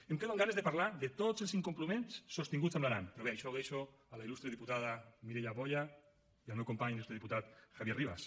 em quedo amb ganes de parlar de tots els incompliments sostinguts amb l’aran però bé això ho deixo a la il·lustre diputada mireia boya i al meu company l’il·lustre diputat javier rivas